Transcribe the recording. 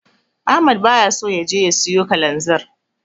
Ahmad baya so ya je ya siyo Kalanzir.